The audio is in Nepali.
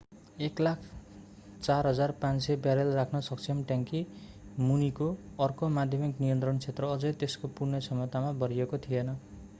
104,500 ब्यारेल राख्न सक्षम ट्याङ्की मुनिको अर्को माध्यमिक नियन्त्रण क्षेत्र अझै त्यसको पूर्ण क्षमतामा भरिएको थिएन